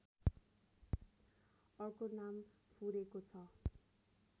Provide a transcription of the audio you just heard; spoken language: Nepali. अर्को नाम फुरेको छ